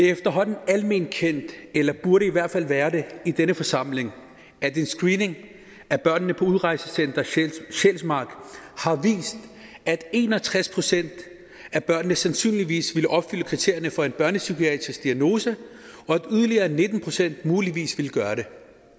efterhånden alment kendt eller burde i hvert fald være det i denne forsamling at en screening af børnene på udrejsecenter sjælsmark har vist at en og tres procent af børnene sandsynligvis ville opfylde kriterierne for en børnepsykiatrisk diagnose og at yderligere nitten procent muligvis ville gøre det